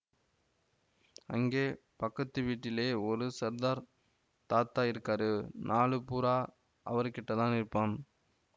அங்கே பக்கத்து வீட்டிலே ஒரு சர்தார் தாதா இருக்காரு நாளு பூரா அவருகிட்டதான் இருப்பான்